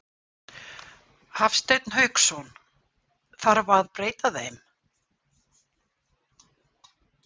Hafsteinn Hauksson: Þarf að breyta þeim?